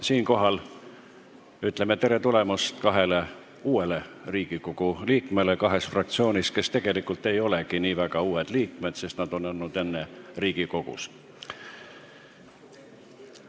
Siinkohal ütleme tere tulemast kahele uuele Riigikogu liikmele kahes fraktsioonis, kes tegelikult ei olegi nii väga uued liikmed, sest nad on ka enne Riigikogus olnud.